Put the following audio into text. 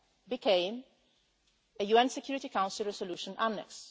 became a UN Security Council resolution annex.